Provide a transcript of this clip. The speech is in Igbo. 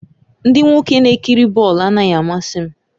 Ndị nwoke na-ekiri bọọlụ anaghị amasị m